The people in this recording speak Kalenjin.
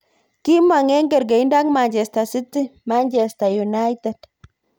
kimong eng kargeindo ak Manchester city, Manchester United.